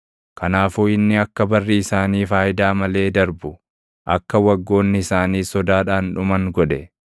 Kanaafuu inni akka barri isaanii faayidaa malee darbu, akka waggoonni isaaniis sodaadhaan dhuman godhe.